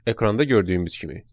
Ekranda gördüyümüz kimi.